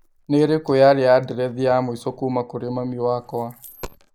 Nĩ ĩrĩkũ yaarĩ andirethi ya mũico kũũma kũrĩ mami wakwa?